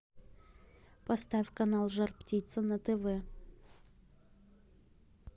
поставь канал жар птица на тв